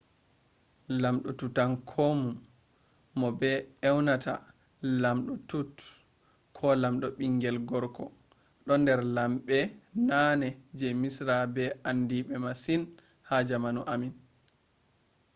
ii! lamɗo tutankhamun mo be ewnata ''lamɗo tut'' ko ''lamɗo bingel gorko'' do der lambbe nane je misra be andibe masin ha jamanu ammin